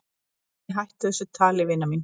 """Æ, hættu þessu tali, vina mín."""